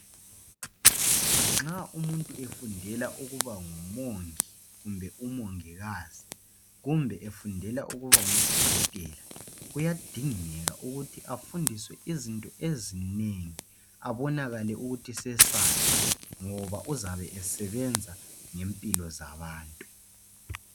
Nxa umuntu efundela ukuba ngumongi kumbe umongikazi kumbe efundela ukuba ngudokotela kuyadingeka ukuthi afundiswe izinto ezinengi abonakale ukuthi sesazi ngoba uzabe esebenza ngempilo zabantu.